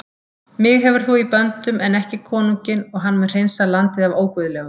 Mig hefur þú í böndum en ekki konunginn og hann mun hreinsa landið af óguðlegum.